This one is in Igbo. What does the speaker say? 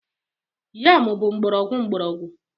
Yam bụ mgbọrọgwụ mgbọrọgwụ.